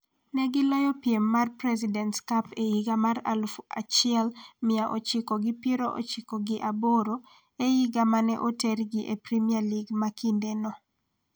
Ne giloyo piem mar Presidents Cup e higa mar aluf achiel mia ochiko gi piero ochiko gi aboro, e higa ma ne otergi e Kenya Premier League ma kindeno.